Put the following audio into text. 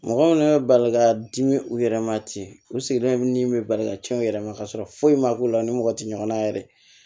Mɔgɔ minnu bɛ bali ka dimi u yɛrɛ ma ten u sigilen bɛ ni min bɛ bali ka cɛn u yɛrɛ ma kasɔrɔ foyi ma k'u la u ni mɔgɔ tɛ ɲɔgɔn na yɛrɛ